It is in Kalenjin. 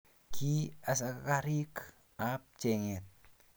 ki asakarik ab chenget